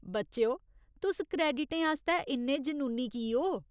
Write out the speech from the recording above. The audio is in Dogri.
बच्चेओ, तुस क्रेडिटें आस्तै इन्ने जुनूनी की ओ?